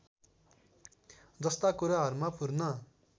जस्ता कुराहरूमा पूर्ण